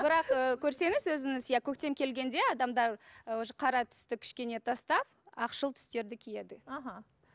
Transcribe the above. бірақ ы көрсеңіз өзіңіз иә көктем келгенде адамдар ы уже қара түсті кішкене тастап ақшыл түстерді киеді аха